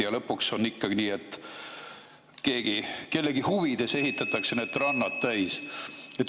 Ja lõpuks on ikkagi nii, et kellegi huvides ehitatakse rannad täis.